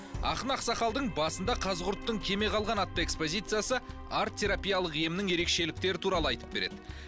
ақын ақсақалдың басында қазықұрттың кеме қалған атты экспозициясы арт терапиялық емнің ерекшеліктері туралы айтып береді